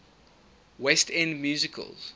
west end musicals